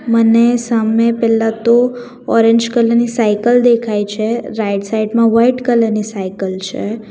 મને સામે પહેલા તો ઓરેન્જ કલર ની સાઇકલ દેખાય છે રાઈટ સાઈડ માં વાઈટ કલર ની સાઇકલ છે.